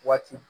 Waati